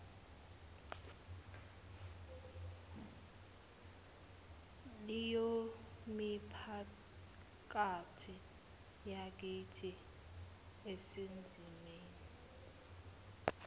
leyomiphakathi yakithi esezimeni